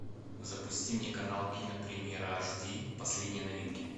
запусти мне канал кинопремьера аш ди последние новинки